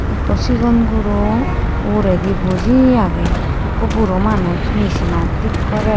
Ikko sigon guro uredi buji age ikko buro Manus machine an thik gorer.